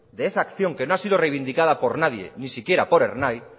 de esa acción que no ha sido reivindicada por nadie ni siquiera por ernai